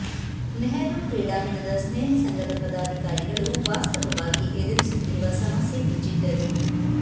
ನೆಹರು ಕ್ರೀಡಾಂಗಣದ ಸ್ನೇಹ ಸಂಘದ ಪದಾಧಿಕಾರಿಗಳು ವಾಸ್ತವವಾಗಿ ಎದುರಿಸುತ್ತಿರುವ ಸಮಸ್ಯೆ ಬಿಚ್ಚಿಟ್ಟರು